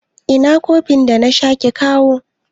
ina kofin da nace kikawo